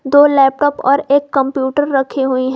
दो लैपटॉप और एक कंप्यूटर रखी हुई है।